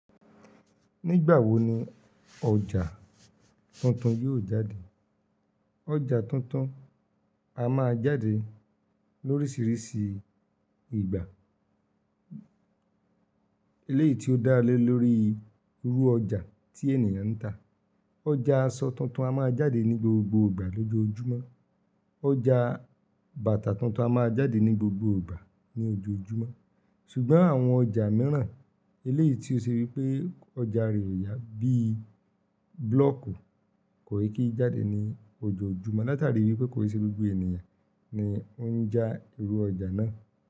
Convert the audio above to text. Nígbà wo ni ọjà tuntun yóò jáde? Ọjà tuntun a máa jáde lóríṣiríṣi ìgbà eléyìí tí ó dá lé lórí irú ọjà tí ènìyàn ń tà. Ọjà aṣọ tuntun a máa jáde ní gbogbo ìgbà lójoojúmọ́, ọjà bàtà tuntun a máa jáde ní gbogbo ìgbà ní ojoojúmọ́ ṣùgbọ́n àwọn ọjà mìíràn eléyìí tí ó ṣe wí pé ọjà rẹ̀ ò yá bí i búlọ̀ọ̀kù kò kí jáde ní ojoojúmọ́ látàrí wípé kò ì ṣe gbogbo ènìyàn ni ó ń já irú ọjà náà.